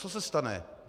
Co se stane?